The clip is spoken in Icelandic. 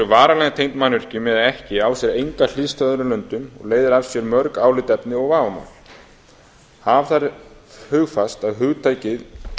varanlega tengd mannvirkjum eða ekki á sér enga hliðstæðu í öðrum löndum og leiðir af sér mörg álitaefni og vafamál hafa þarf hugfast að hugtakið